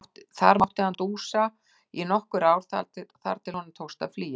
Þar mátti hann dúsa í nokkur ár þar til honum tókst að flýja.